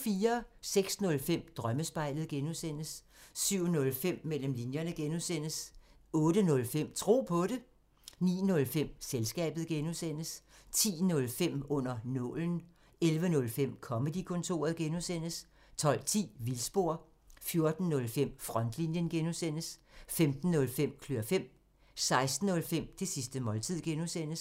06:05: Drømmespejlet (G) 07:05: Mellem linjerne (G) 08:05: Tro på det 09:05: Selskabet (G) 10:05: Under nålen 11:05: Comedy-kontoret (G) 12:10: Vildspor 14:05: Frontlinjen (G) 15:05: Klør fem 16:05: Det sidste måltid (G)